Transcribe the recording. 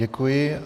Děkuji.